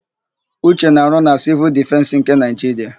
Uche na-arụ na Sịvụl Dịfensị nke Naịjiria.